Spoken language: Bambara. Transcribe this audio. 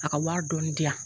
A ka wari dɔɔnin diyan.